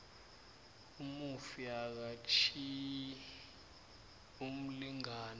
umufi akatjhiyi umlingani